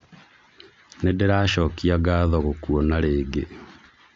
Nĩndĩracokia ngatho gũkũona rĩngĩ